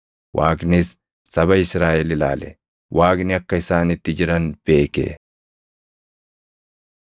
Waaqnis saba Israaʼel ilaale; Waaqni akka isaan itti jiran beeke.